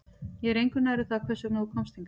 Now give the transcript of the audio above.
Ég er engu nær um það hvers vegna þú komst hingað